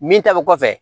Min ta bɛ kɔfɛ